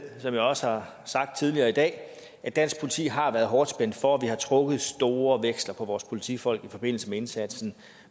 som jeg også har sagt tidligere i dag at dansk politi har været hårdt spændt for og vi har trukket store veksler på vores politifolk i forbindelse med indsatsen